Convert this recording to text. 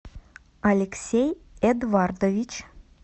алексей эдвардович